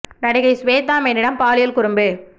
நடிகை ஸ்வேதா மேனனிடம் பாலியல் குறும்பு